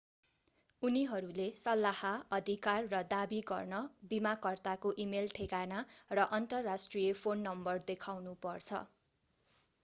उनीहरूले सल्लाह/अधिकार र दावी गर्न बीमाकर्ताको इमेल ठेगाना र अन्तर्राष्ट्रिय फोन नम्बर देखाउनु पर्छ।